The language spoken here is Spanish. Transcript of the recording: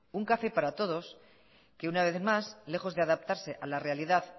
un café para todos que una vez más lejos de adaptarse a la realidad